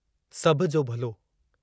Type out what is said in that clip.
सभ जो भलो